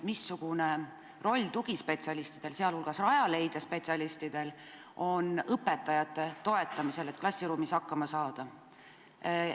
Missugune roll on tugispetsialistidel, sh Rajaleidja spetsialistidel õpetajate toetamisel, et nad klassiruumis hakkama saaksid?